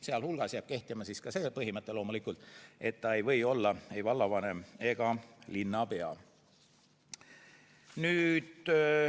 Sealhulgas jääb kehtima loomulikult ka see põhimõte, et ta ei või olla ei vallavanem ega linnapea.